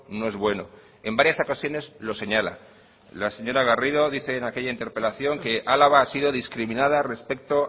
no es bueno en varias ocasiones lo señala la señora garrido dice en aquella interpelación que álava ha sido discriminada respecto